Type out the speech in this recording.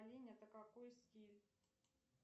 это какой стиль